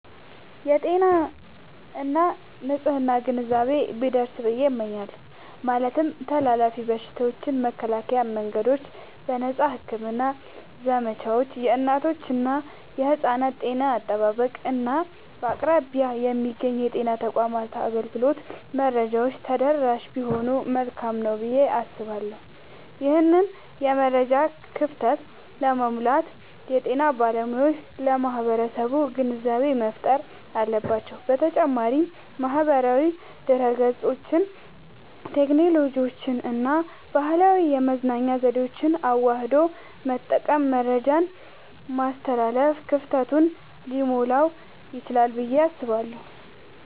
የጤና እና የንፅህና ግንዛቤ ቢደርስ ብየ እመኛለሁ። ማለትም ተላላፊ በሽታዎችን የመከላከያ መንገዶች፣ የነፃ ሕክምና ዘመቻዎች፣ የእናቶችና የሕፃናት ጤና አጠባበቅ፣ እና በአቅራቢያ የሚገኙ የጤና ተቋማት አገልግሎት መረጃዎች ተደራሽ ቢሆኑ መልካም ነዉ ብየ አስባለሁ። ይህንን የመረጃ ክፍተት ለመሙላት የጤና ባለሙያዎች ለማህበረሰቡ ግንዛቤ መፍጠር አለባቸዉ። በተጨማሪም ማህበራዊ ድህረገጽን፣ ቴክኖሎጂንና ባህላዊ የመገናኛ ዘዴዎችን አዋህዶ በመጠቀም መረጃን ማስተላለፍ ክፍተቱን ሊሞላዉ ይችላል ብየ አስባለሁ።